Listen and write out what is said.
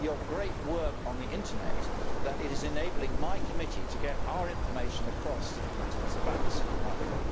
great work on the internet that is enabling my committee to get our information across to citizens about the Single Market.